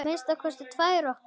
Að minnsta kosti tvær okkar.